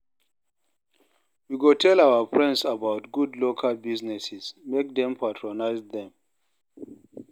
We go tell our friends about good local businesses, make dem patronize dem.